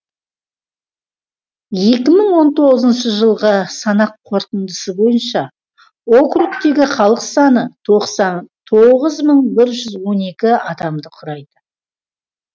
екі мың он тоғызыншы жылғы санақ қорытындысы бойынша округтегі халық саны тоғыз мың бір жүз он екі адамды құрайды